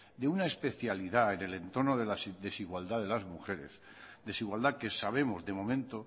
de una especialidad en el entorno de la desigualdad de las mujeres desigualdad que sabemos de momento